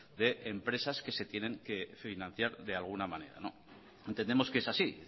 de empresas que se tienen que financiar de alguna manera entendemos que es así